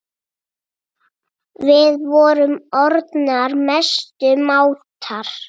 Við vorum orðnar mestu mátar.